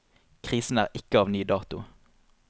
Krisen er ikke av ny dato.